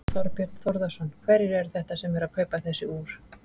Þorbjörn Þórðarson: Hverjir eru þetta sem eru að kaupa þessi úr?